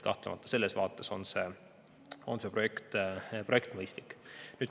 Kahtlemata on selles mõttes see projekt mõistlik.